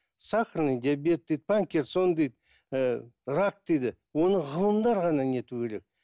сахарный диабет дейді паркинсон дейді ііі рак дейді оны ғылымдар ғана не етуі керек